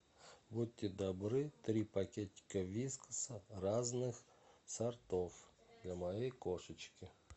будьте добры три пакетика вискаса разных сортов для моей кошечки